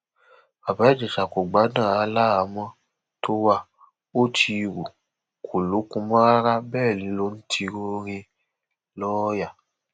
bàbá ìjẹsà kò gbádùn rárá láhàámọ tó wa ò ti rú kó lókun mọ rárá bẹẹ ló ń tiro rìnlọọyà